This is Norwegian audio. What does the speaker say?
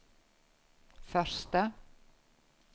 første